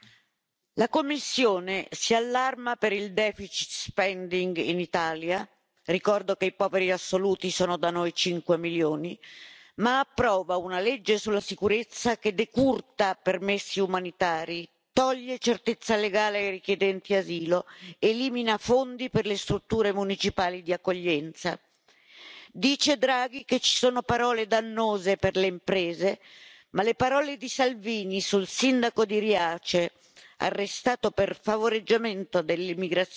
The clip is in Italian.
Signor Presidente, onorevoli colleghi, la Commissione si allarma per il in Italia, ricordo che i poveri assoluti sono da noi 5 milioni, ma approva una legge sulla sicurezza che decurta permessi umanitari, toglie certezza legale ai richiedenti asilo, elimina fondi per le strutture municipali di accoglienza. Dice Draghi che ci sono parole dannose per le imprese, ma le parole di Salvini sul sindaco di Riace, arrestato per favoreggiamento dell'immigrazione